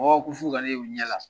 Ɔ ko f'u ka ne ye u ɲɛ na